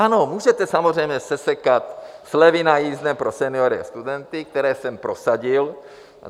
Ano, můžete samozřejmě sesekat slevy na jízdném pro seniory a studenty, které jsem prosadil.